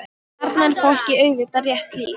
Þarna er fólki auðvitað rétt lýst.